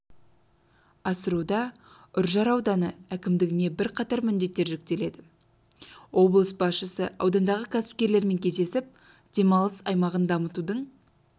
асыруда үржар ауданы әкімдігіне бірқатар міндеттер жүктелді облыс басшысы аудандағы кәсіпкерлермен кездесіп демалыс айлағын дамытудың